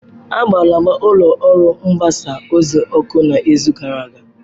A gbara ụlọ ọrụ mgbasa ozi ọkụ n'izu gara aga.